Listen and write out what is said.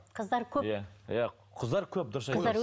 қыздар көп иә қыздар көп дұрыс айтасыз